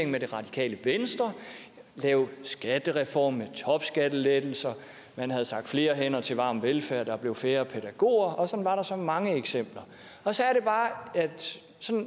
med det radikale venstre og lave skattereform med topskattelettelser man havde sagt flere hænder til varm velfærd og at der blev flere pædagoger og sådan var der så mange eksempler så er det bare at